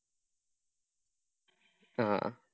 ആഹ് അഹ്